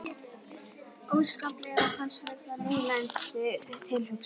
Óskaplega fannst mér það niðurlægjandi tilhugsun.